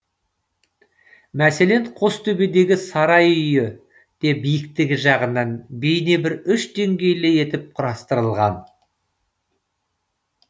мәселен қостөбедегі сарай үйі де биіктігі жағынан бейне бір үш денгейлі етіп құрастырылған